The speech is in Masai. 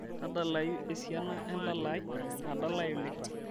tadalayu esiana endala ai nadalae oleng